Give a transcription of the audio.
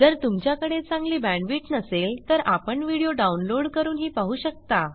जर तुमच्याकडे चांगली बॅण्डविड्थ नसेल तर आपण व्हिडिओ डाउनलोड करूनही पाहू शकता